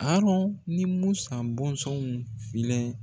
Arɔn ni Musan bɔnsɔnw filɛ